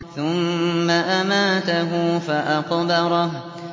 ثُمَّ أَمَاتَهُ فَأَقْبَرَهُ